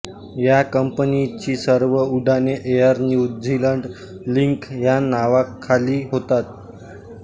ह्या कंपनीची सर्व उड्डाणे एअर न्यू झीलंड लिंक ह्या नावखाली होतात